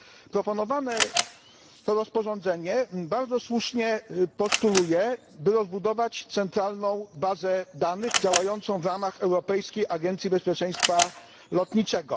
Proponowane rozporządzenie bardzo słusznie postuluje, by rozbudować centralną bazę danych działającą w ramach Europejskiej Agencji Bezpieczeństwa Lotniczego.